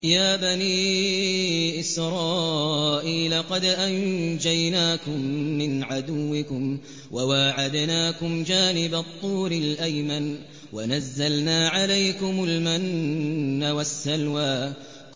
يَا بَنِي إِسْرَائِيلَ قَدْ أَنجَيْنَاكُم مِّنْ عَدُوِّكُمْ وَوَاعَدْنَاكُمْ جَانِبَ الطُّورِ الْأَيْمَنَ وَنَزَّلْنَا عَلَيْكُمُ الْمَنَّ وَالسَّلْوَىٰ